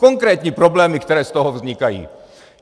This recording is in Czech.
Konkrétní problémy, které z toho vznikají.